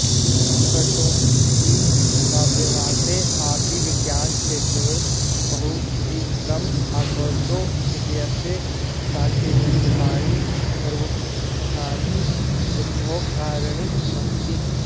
कौटुम्बिकव्यवसाये अपि विज्ञानक्षेत्रवत् बहुपरिश्रम् अकरोत् इत्यस्य साक्षीरूपाणि पूर्वोक्तानि उद्योगकार्याणि सन्ति